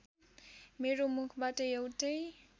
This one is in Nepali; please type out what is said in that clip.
मेरो मुखबाट एउटै